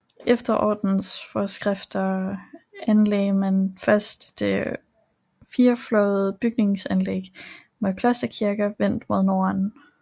Efter ordenens forskrifter anlagde man først det firefløjede bygningsanlæg med klosterkirken vendt mod nord